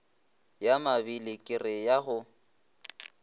ya mabili kere ya go